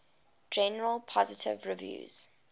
generally positive reviews